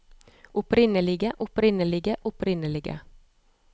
opprinnelige opprinnelige opprinnelige